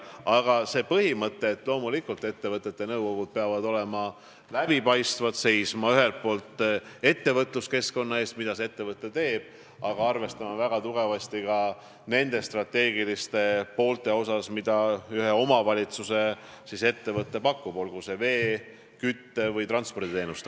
Aga õige on see põhimõte, et ettevõtete nõukogud peavad olema läbipaistvad, nad peavad seisma ühelt poolt ettevõtluskeskkonna eest, aga arvestama väga tugevasti ka nende teenuste strateegilise poolega, mida omavalitsuse ettevõte pakub, olgu see siis vee-, kütte- või transporditeenus.